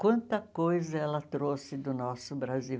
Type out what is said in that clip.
Quanta coisa ela trouxe do nosso Brasil.